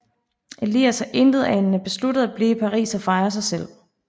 Elias har intetanende besluttet at blive i Paris og fejre sig selv